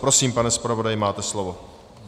Prosím, pane zpravodaji, máte slovo.